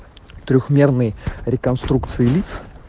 трёхмерный реконструкции лиц